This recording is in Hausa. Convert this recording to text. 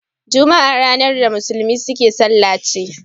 Juma'a ranar da musulmai suke sallar ce.